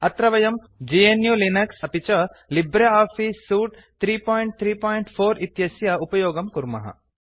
अत्र वयम् GNU Linux इत्यस्य अपि च लिब्रे आफीस सूट 334 इत्यस्य उपयोगं कुर्मः